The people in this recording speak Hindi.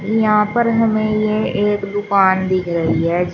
यहां पर हमें ये एक दुकान दिख रही है।